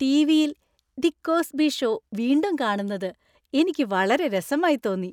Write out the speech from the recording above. ടിവിയിൽ "the Cosby show" വീണ്ടും കാണുന്നത് എനിക്ക് വളരെ രസമായി തോന്നി .